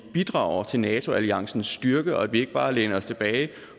bidrager til nato alliancens styrke og at vi ikke bare læner os tilbage